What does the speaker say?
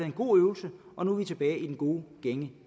en god øvelse og nu er vi tilbage i den gode gænge